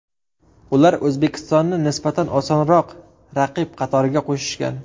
Ular O‘zbekistonni nisbatan osonroq raqib qatoriga qo‘shishgan.